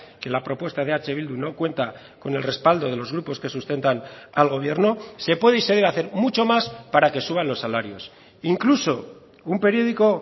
que la propuesta de eh bildu no cuenta con el respaldo de los grupos que sustentan al gobierno se puede y se debe hacer mucho más para que suban los salarios incluso un periódico